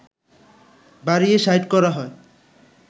বাড়িয়ে ৬০ করা হয়